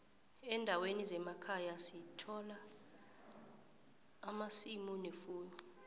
endaweni zemakhaya sithola amasimu nefuyo